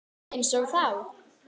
Einsog þá.